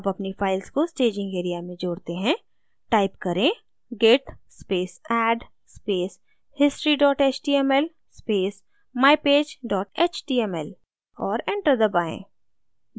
add अपनी files को staging area में जोड़ते हैं type करें git space add space history html space mypage html और enter दबाएँ